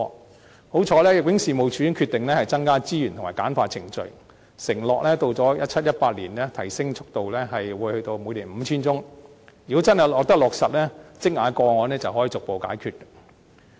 幸好，入境處已經決定增加資源及簡化程序，承諾到了 2017-2018 年度，速度將提升至每年完成審核 5,000 宗，如果真的得以落實，積壓的個案便可以逐步解決。